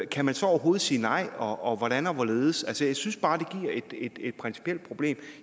kan man så overhovedet sige nej og hvordan og hvorledes altså jeg synes bare det giver et principielt problem